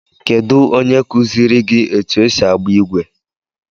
Kedụ onye kuziiri gị etụ esị agba igwe?